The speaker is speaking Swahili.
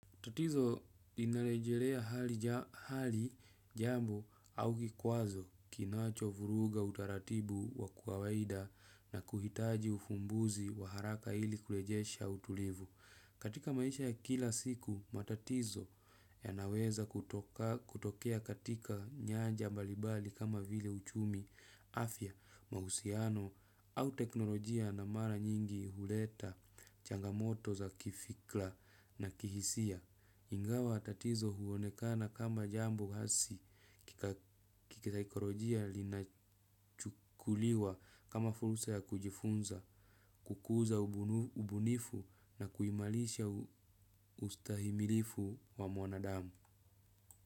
Tatizo inarejelea hali, jambo au kikwazo kinachovuruga utaratibu wa kawaida na kuhitaji ufumbuzi wa haraka ili kurejesha utulivu. Katika maisha ya kila siku matatizo yanaweza kutokea katika nyamja mbalimbali kama vile uchumi afya mahusiano au teknolojia na mara nyingi huleta changamoto za kifikra na kihisia. Ingawa tatizo huonekana kama jambo hasi kisaikolojia linachukuliwa kama fursa ya kujifunza, kukuza ubunifu na kuimarisha ustahimilivu wa mwanadamu.